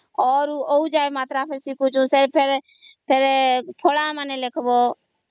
ଅ ରୁ ଅଉ ଯାଏ ମାତ୍ର ମାନେ ଶିଖୁଛୁ ସେଇ ଠାରେ ଫଳା ମାନେ ଲଖିବ